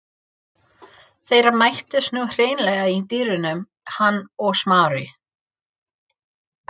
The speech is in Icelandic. Þeir mættust nú hreinlega í dyrunum, hann og Smári.